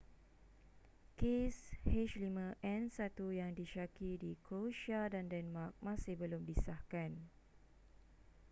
kes h5n1 yang disyaki di croatia dan denmark masih belum disahkan